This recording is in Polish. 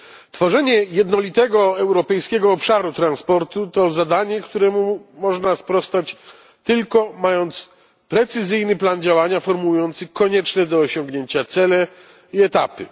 Tworzenie jednolitego europejskiego obszaru transportu to zadanie, któremu można sprostać, tylko mając precyzyjny plan działania formułujący konieczne do osiągnięcia cele i etapy.